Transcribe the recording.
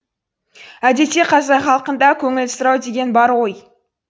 әдетте қазақ халқында көңіл сұрау деген бар ғой